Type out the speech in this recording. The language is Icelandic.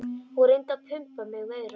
Hún reyndi að pumpa mig meira.